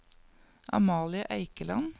Amalie Eikeland